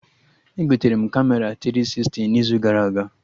Egotere m Kamera tiri sisti n'izu gara aga